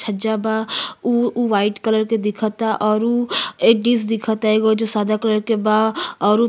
छज्जा बा उ उ व्हाइट कलर के दिखता और उ एक डिश दिखता जो सादा कलर के बा और उ --